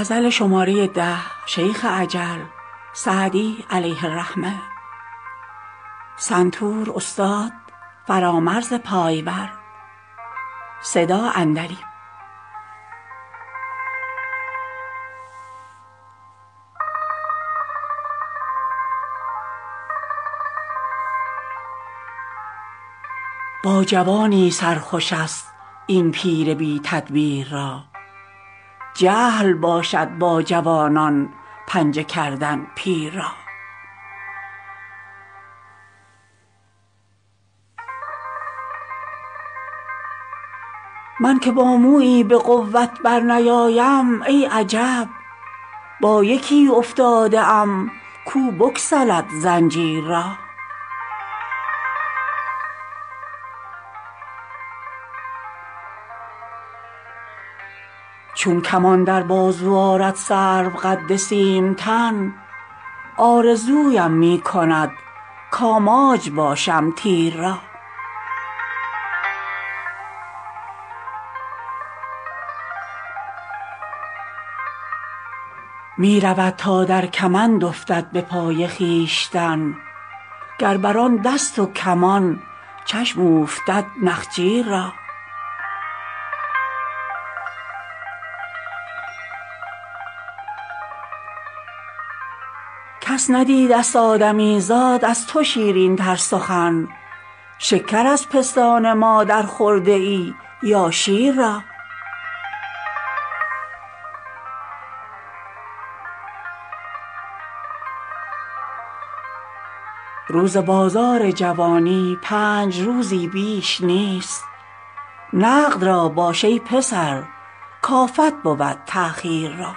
با جوانی سر خوش است این پیر بی تدبیر را جهل باشد با جوانان پنجه کردن پیر را من که با مویی به قوت برنیایم ای عجب با یکی افتاده ام کو بگسلد زنجیر را چون کمان در بازو آرد سروقد سیم تن آرزویم می کند کآماج باشم تیر را می رود تا در کمند افتد به پای خویشتن گر بر آن دست و کمان چشم اوفتد نخجیر را کس ندیدست آدمیزاد از تو شیرین تر سخن شکر از پستان مادر خورده ای یا شیر را روز بازار جوانی پنج روزی بیش نیست نقد را باش ای پسر کآفت بود تأخیر را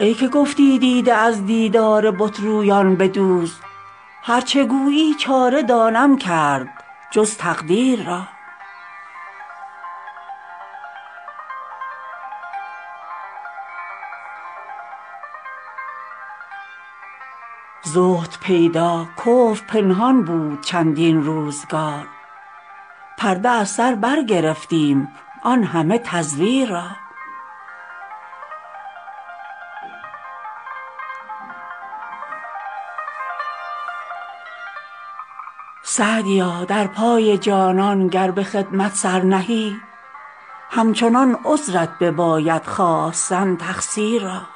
ای که گفتی دیده از دیدار بت رویان بدوز هر چه گویی چاره دانم کرد جز تقدیر را زهد پیدا کفر پنهان بود چندین روزگار پرده از سر برگرفتیم آن همه تزویر را سعدیا در پای جانان گر به خدمت سر نهی همچنان عذرت بباید خواستن تقصیر را